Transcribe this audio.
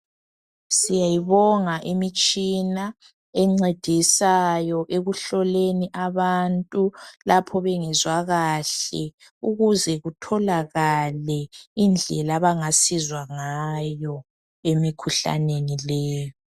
Siyayibonga imitshina encedisayo ekuhloleni abantu lapho bengezwa kahle ukuze kutholakale indlela abangasizwa ngayo emikhuhlaneni leyo.